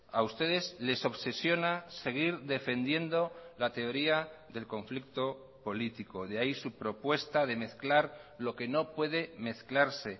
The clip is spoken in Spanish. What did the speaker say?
a ustedes les obsesiona seguir defendiendo la teoría del conflicto político de ahí su propuesta de mezclar lo que no puede mezclarse